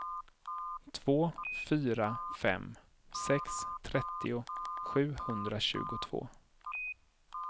två fyra fem sex trettio sjuhundratjugotvå